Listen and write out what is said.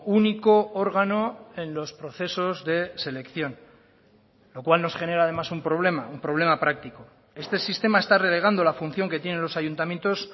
único órgano en los procesos de selección lo cual nos genera además un problema un problema práctico este sistema está relegando la función que tienen los ayuntamientos